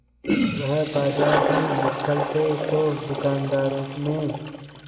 वह बाजार में निकलते तो दूकानदारों में